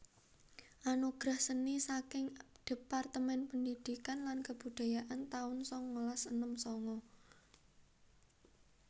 Anugerah Seni saking Departemen Pendidikan lan Kebudayaan taun sangalas enem sanga